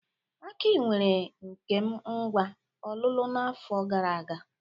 Aki kwere Nkem ngwá ọlụlụ n'afọ gara aga.